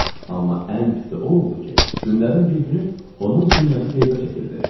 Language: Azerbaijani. Amma ən pisi o oldu ki, günlərin bir günü onun knyazı qeybə çəkildi.